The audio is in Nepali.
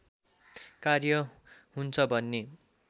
कार्य हुन्छ भन्ने